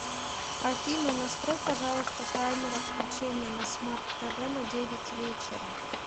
афина настрой пожалуйста таймер отключения на смарт тв на девять вечера